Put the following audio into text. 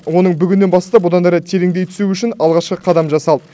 оның бүгіннен бастап одан әрі тереңдей түсуі үшін алғашқы қадам жасалды